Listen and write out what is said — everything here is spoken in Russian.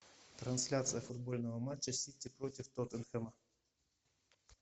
трансляция футбольного матча сити против тоттенхэма